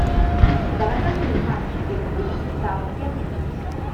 давай позырим матч ливерпуля с саутгемптоном